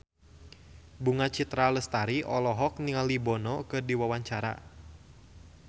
Bunga Citra Lestari olohok ningali Bono keur diwawancara